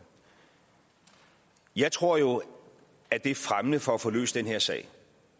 jeg tror jo at det er fremmende for at få løst den her sag